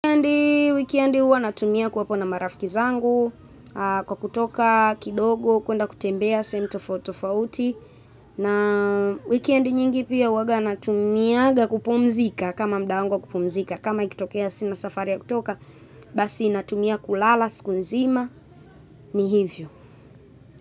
Wikendi huwa natumia kuwapo na marafiki zangu, kwa kutoka kidogo, kwenda kutembea, sehemu tofauti tofauti. Na wikendi nyingi pia huwaga natumiaga kupumzika, kama muda wangu wa kupumzika, kama ikitokea sina safari ya kutoka, basi natumia kulala, siku nzima, ni hivyo.